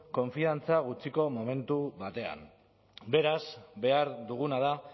konfiantza gutxiko momentu batean beraz behar duguna da